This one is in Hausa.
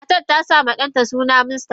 Matar tasama danta suna Mustapha.